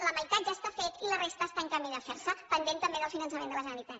la meitat ja està fet i la resta està en camí de fer se pendent també del finançament de la generalitat